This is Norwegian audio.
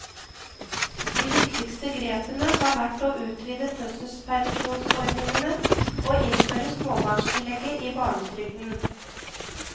De viktigste grepene har vært å utvide fødselspermisjonsordningene og innføre småbarnstillegget i barnetrygden.